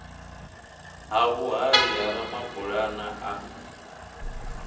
ha vhuhali ha ramabulana a